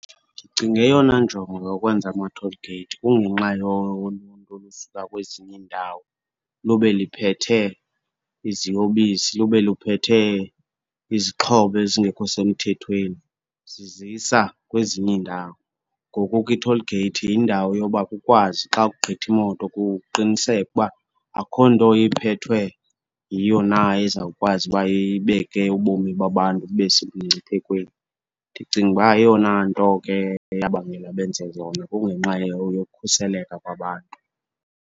Ndicinga eyona njongo yokwenza ama-toll gate kungenxa yoluntu olusuka kwezinye iindawo lube liphethe iziyobisi, lube liphethe izixhobo ezingekho semthethweni zizisa kwezinye iindawo. Ngoku ke i-toll gate yindawo yoba kukwazi xa kugqitha imoto kuqinisekwe uba akukho nto iphethwe yiyo na ezawukwazi uba ibeke ubomi babantu bube semngciphekweni. Ndicinga uba eyona nto ke eyabangela benze zona kungenxa yokhuseleka kwabantu.